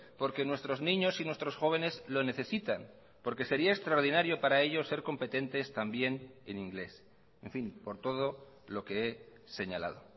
porque nuestros niños y nuestros jóvenes lo necesitan porque sería extraordinario para ellos ser competentes también en inglés en fin por todo lo que he señalado